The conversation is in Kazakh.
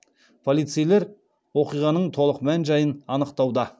полицейлер оқиғаның толық мән жайын анықтауда